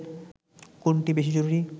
কোনটা বেশি জরুরি